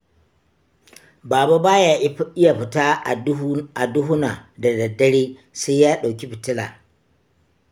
Baba ba ya iya fita a duhuna da dare sai ya ɗauki fitila.